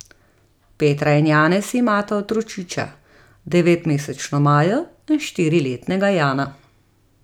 Petra in Janez imata otročiča, devetmesečno Majo in štiriletnega Jana.